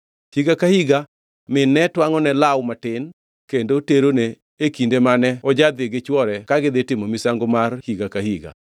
Higa ka higa min ne twangʼone law matin kendo terone e kinde mane ojadhi gi chwore ka gidhi timo misango mar higa ka higa.